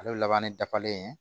Ale laban dafalen